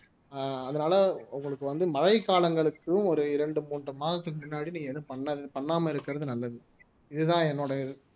ஆஹ் அதனால உங்களுக்கு வந்து மழை காலங்களுக்கும் ஒரு இரண்டு மூன்று மாதத்துக்கு முன்னாடி நீங்க எதுவும் பண்ண பண்ணாம இருக்கறது நல்லது இதுதான் என்னோட